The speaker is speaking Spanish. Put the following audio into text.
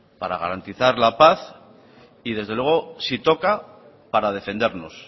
para garantizar la paz y desde luego si toca para defendernos